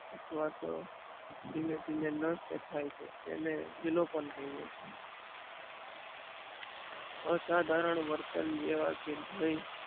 અથવા તો ધીમે ધીમે નષ્ટ થાય છે તેને વિલોપન કહીએ છીએ અસાધારણ વર્તન જેવા કે ભય